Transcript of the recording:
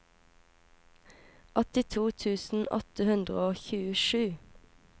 åttito tusen åtte hundre og tjuesju